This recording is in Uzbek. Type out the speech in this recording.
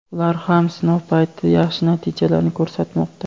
ular ham sinov paytida yaxshi natijalarni ko‘rsatmoqda.